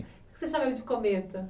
de cometa